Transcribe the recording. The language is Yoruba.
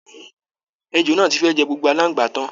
Èjò náà ti fẹ́ẹ̀ jẹ gbogbo aláǹgbá tán